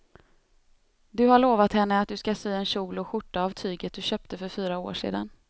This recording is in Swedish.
Du har lovat henne att du ska sy en kjol och skjorta av tyget du köpte för fyra år sedan.